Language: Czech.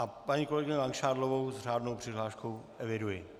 A paní kolegyni Langšádlovou s řádnou přihláškou eviduji.